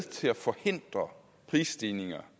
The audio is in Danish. til at forhindre prisstigninger